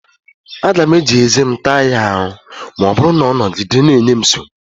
Aga m eji ezé m taa ya arù ma ọ bụrụ na ọ nogide na-enye m nsogbu.